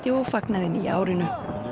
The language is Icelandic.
og fagnaði nýja árinu